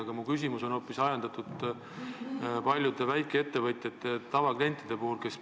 Aga mu küsimus on hoopis ajendatud paljude väikeettevõtjatest tavaklientide murest.